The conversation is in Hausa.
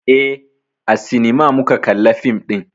Eh, a sinima muka kalla fim ɗin.